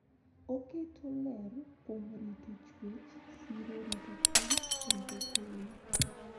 Oketo ler kuom rito chuech, siro rito piny, rito piny,